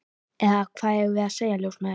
Eða hvað eigum við að segja, ljósmæður?